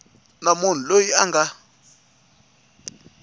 na munhu loyi a nga